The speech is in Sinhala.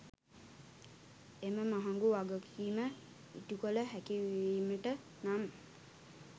එම මහගු වගකිම ඉටුකල හැකිවිමට නම්